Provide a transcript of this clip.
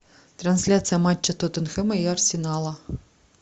трансляция матча тоттенхэма и арсенала